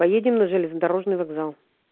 поедем на железнодорожный вокзал